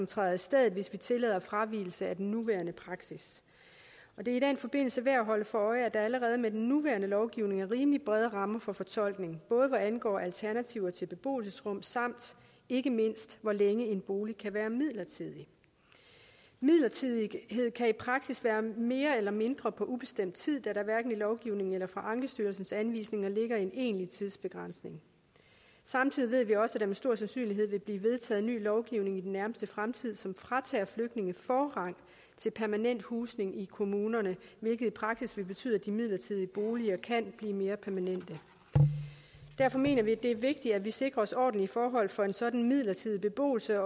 træder i stedet hvis man tillader fravigelse af den nuværende praksis og det er i den forbindelse værd at holde sig for øje at der allerede med den nuværende lovgivning er rimelig brede rammer for fortolkning både hvad angår alternativer til beboelsesrum samt ikke mindst hvor længe en bolig kan være midlertidig midlertidighed kan i praksis være mere eller mindre på ubestemt tid da der hverken i lovgivningen eller i ankestyrelsens anvisninger ligger en egentlig tidsbegrænsning samtidig ved vi også at der med stor sandsynlighed vil blive vedtaget ny lovgivning i den nærmeste fremtid som fratager flygtninge forrang til permanent husning i kommunerne hvilket i praksis vil betyde at de midlertidige boliger kan blive mere permanente derfor mener vi det er vigtigt at der sikres ordentlige forhold for en sådan midlertidig beboelse